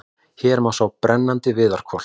Hér má sjá brennandi viðarkol.